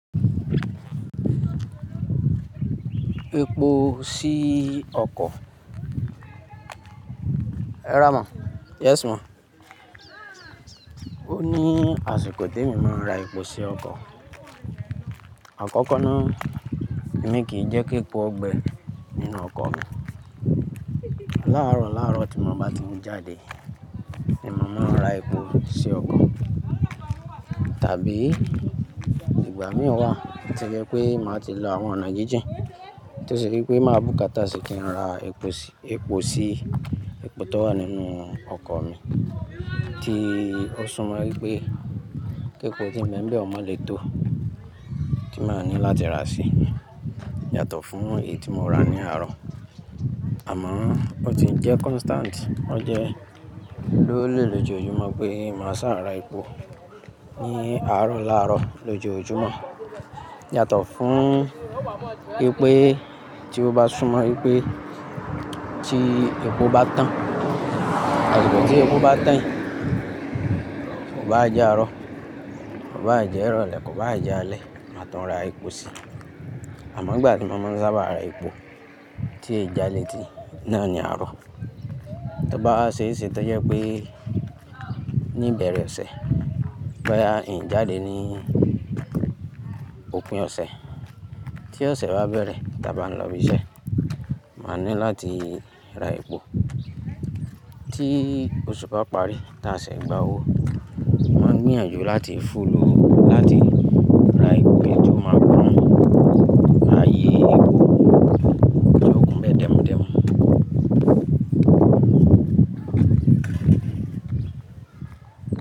Epo sí ọkọ̀. Rárá ma, yes ma Ó ní àsìkò temi máa ń ra epo sí ọkọ̀. Àkọ́kọ́ náà, èmi kì í jẹ́ kí epo gbẹ nínú ọkọ̀ mi. Láàárọ̀ láàárọ̀ tí mo bá ti n jáde ni mo máa ń ra epo sí ọkọ̀. Tàbí ìgbà mìíràn wà tí ó jẹ́ pé màá ti lo àwọn ọ̀nà jíjìn tó ṣe pé kí máa bùkátà sì kí n ra epo sí, epo sí, epo tó wà nínú ọkọ̀ mi. Tí ó sunmọ wípé kí epo ti n be n bẹ́ ọ mọ lè tó tí màá ní láti ra sí yàtọ̀ fún èyí tí mo rà ní àárọ̀. Àmọ́ ó ti ń jẹ́ constant, ó jẹ́ lóòlé lójoojúmọ́ pé màá saa ra epo ní àárọ̀ láàrọ̀ lójoojúmọ́. Yàtọ̀ fún ìpé tí ó bá sunmọ wípé tí epo bá tán àsiko tí epo bá tán yii, kò bá jẹ́ àárọ̀, kò bá jẹ́ ìrọ̀lẹ́, kò bá jẹ́ alẹ́, màá tun ra epo sí. Àmọ́ ìgbà tí mo máa ń sábà ra epo tí èèjà léti ná ni àárọ̀. Tí ó bá wa ṣe é ṣe tó jẹ́ pé ní ìbẹ̀rẹ̀ ọ̀sẹ̀, bóyá ì jáde ní òpin ọ̀sẹ̀, tí ọ̀sẹ̀ bá bẹ̀rẹ̀ tí a bá ń lọ ibi iṣẹ́, màá ní láti ra epo. Tí oṣù bá parí, tá Ṣẹ́ ẹ̀ gba owó, mo màá gbìyànjú láti fúll ó lati ra epo kí ó máa kun áyé epo ti o kun n bẹ dẹ́mudẹ́mu.